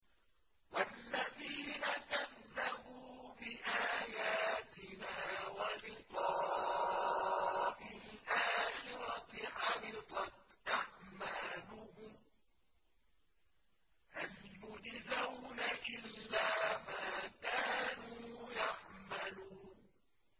وَالَّذِينَ كَذَّبُوا بِآيَاتِنَا وَلِقَاءِ الْآخِرَةِ حَبِطَتْ أَعْمَالُهُمْ ۚ هَلْ يُجْزَوْنَ إِلَّا مَا كَانُوا يَعْمَلُونَ